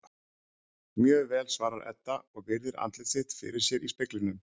Mjög vel, svarar Edda og virðir andlit sitt fyrir sér í speglinum.